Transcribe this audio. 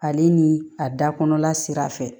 Ale ni a da kɔnɔla sira fɛ